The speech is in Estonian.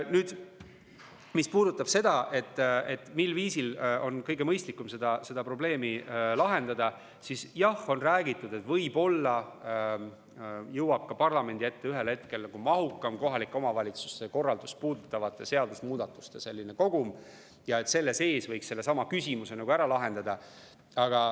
Nüüd, mis puudutab seda, mil viisil on kõige mõistlikum seda probleemi lahendada, siis, jah, on räägitud, et võib-olla jõuab parlamendi ette ühel hetkel mahukam kohaliku omavalitsuse korraldust puudutavate seadusemuudatuste kogum ja et selle sees võiks ka sellesama küsimuse ära lahendada.